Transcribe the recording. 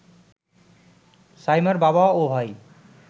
সাইমার বাবা ও ভাই